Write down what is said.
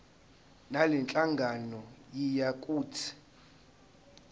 ngalenhlangano yiya kut